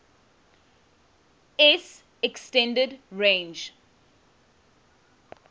s extended range